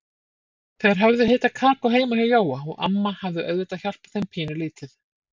Þeir höfðu hitað kakó heima hjá Jóa og amma hafði auðvitað hjálpað þeim pínulítið.